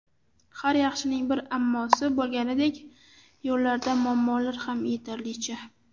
Har yaxshining bir ammosi, bo‘lganidek yo‘llarda muammolar ham yetarlicha.